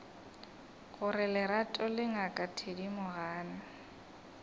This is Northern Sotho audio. gore lerato le ngaka thedimogane